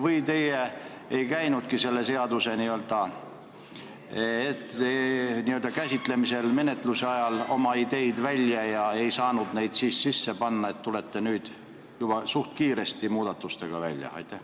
Või teie ei käinudki selle seaduse menetluse ajal oma ideid välja ega saanud neid sisse panna ja tulete sellepärast nüüd juba üsna kiiresti muudatustega välja?